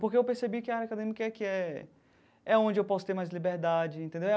Porque eu percebi que a área acadêmica é que é é onde eu posso ter mais liberdade, entendeu?